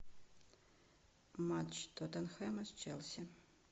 матч тоттенхэма с челси